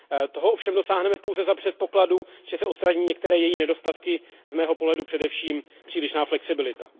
Toho ovšem dosáhneme pouze za předpokladu, že se odstraní některé její nedostatky, z mého pohledu především přílišná flexibilita.